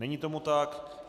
Není tomu tak.